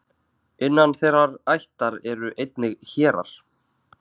Innan þeirrar ættar eru einnig hérar.